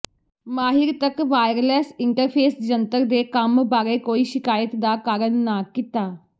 ਮਾਹਿਰ ਤੱਕ wireless interface ਜੰਤਰ ਦੇ ਕੰਮ ਬਾਰੇ ਕੋਈ ਸ਼ਿਕਾਇਤ ਦਾ ਕਾਰਨ ਨਾ ਕੀਤਾ